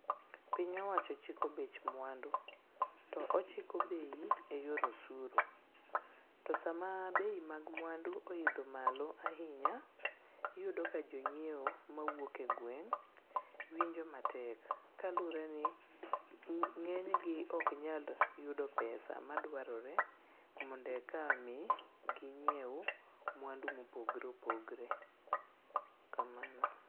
Piny owacho chiko bech mwandu to ochiko bei e yor osuru. To sama bei[as] mag mwandu oidho malo ahinya, iyudo ka jonyieo mawuok e gweng' winjo matek kaluwre ni ng'enygi oknyal yudo pesa madwarore mondo eka mi ginyiew mwandu mopogre opogre, kamano.